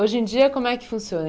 Hoje em dia, como é que funciona?